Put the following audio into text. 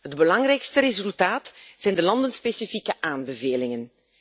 Het belangrijkste resultaat zijn de landenspecifieke aanbevelingen.